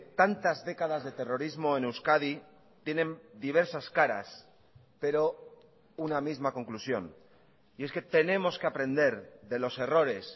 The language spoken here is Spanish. tantas décadas de terrorismo en euskadi tienen diversas caras pero una misma conclusión y es que tenemos que aprender de los errores